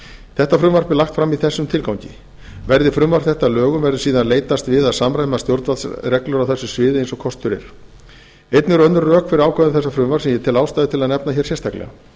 þetta frumvarp er lagt fram í þessum tilgangi verði frumvarp þetta að lögum verður síðan leitast við að samræma stjórnvaldsreglur á þessu sviði eins og kostur er einnig eru önnur rök fyrir ákvæðum þessa frumvarps sem ég tel ástæðu til að nefna hér sérstaklega